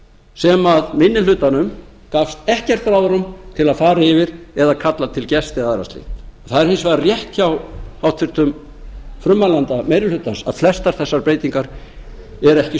sem minni hlutanum gafst ekkert ráðrúm til að fara yfir eða kalla til gesti eða annað slíkt það er hins vegar rétt hjá háttvirtum frummælanda meiri hlutans að flestar þessar breytingar eru ekki